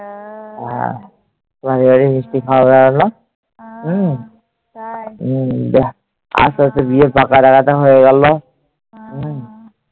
আসতে আসতে বিয়ের পাকা দেখাটা হয়ে গেল।